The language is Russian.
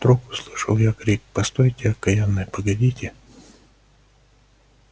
вдруг услышал я крик постойте окаянные погодите